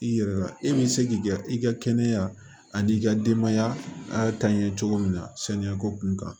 I yɛrɛ la e bɛ se k'i ka i ka kɛnɛya a n'i ka denbaya taɲi cogo min na saniya ko kun kan